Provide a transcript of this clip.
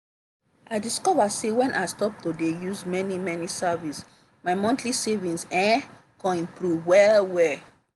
i discover say when i stop to de use many many services my monthly savings um come improve well well.